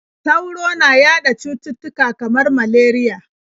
Sauro na yaɗa cututtuka kamar malariya.